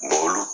olu